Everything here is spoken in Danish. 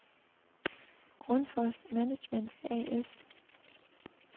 Grundfos Management A/S